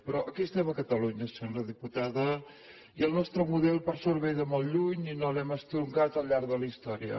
però aquí estem a catalunya senyora diputada i el nostre model per sort ve de molt lluny i no l’hem estroncat al llarg de la història